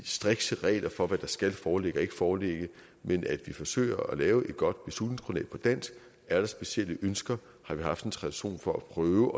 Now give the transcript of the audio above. strikse regler for hvad der skal foreligge og ikke foreligge men at vi forsøger at lave et godt beslutningsgrundlag på dansk er der specielle ønsker har vi haft en tradition for at prøve